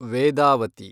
Vedavathi